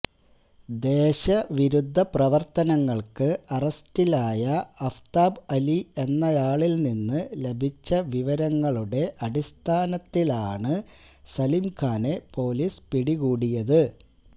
ദേശവിരുദ്ധ പ്രവര്ത്തനങ്ങള്ക്ക് അറസ്റ്റിലായ അഫ്താബ് അലി എന്നയാളില്നിന്ന് ലഭിച്ച വിവരങ്ങളുടെ അടിസ്ഥാനത്തിലാണ് സലിം ഖാനെ പോലീസ് പിടികൂടിയത്